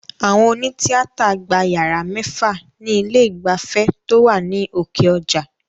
Àwọn òní tíátà gba yàrá mẹ́fà ni ilé ìgbafẹ́ tó wà ní òkè ọjà